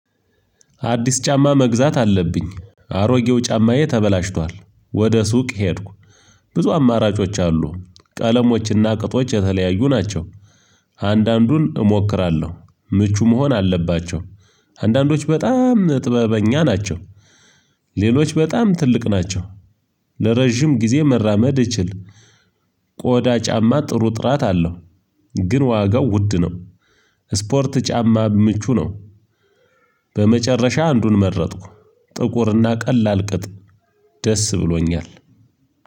አዲስ ጫማ መግዛት አለብኝ አሮጌው ጫማዬ ተበላሽቷል። ወደ ሱቅ ሄድኩ ብዙ አማራጮች አሉ ቀለሞችና ቅጦች የተለያዩ ናቸው አንዳንዱን እሞክራለሁ ምቹ መሆን አለባቸው አንዳንዶች በጣም ጥበበኛ ናቸው። ሌሎች በጣም ትልቅ ናቸው ለረጅም ጊዜ መራመድ እችል ቆዳ ጫማ ጥሩ ጥራት አለው ግን ዋጋው ውድ ነው ስፖርት ጫማ ምቹ ነው በመጨረሻ አንዱን መረጥኩ ጥቁርና ቀላል ቅጥ ደስ ብሎኛል